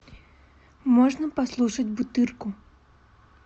можно послушать бутырку